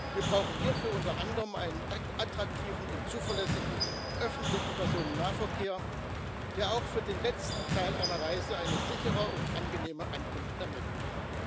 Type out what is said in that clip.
Wir brauchen hierfür, unter anderem, einen attraktiven und zuverlässigen öffentlichen Personennahverkehr, der auch für den letzten Teil einer Reise eine sichere und angenehme Ankunft ermöglicht.